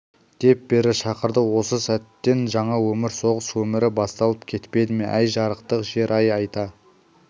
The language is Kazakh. деп бері шақырды осы сәттен жаңа өмір соғыс өмірі басталып кетпеді ме әй жарықтың жер-ай айта